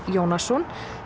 Jónasson